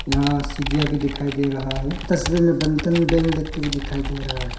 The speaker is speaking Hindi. यहां सीढ़ियां भी दिखाई दे रहा है तस्वीर में बंधन बैंक लिख के भी दिखाई दे रहा है।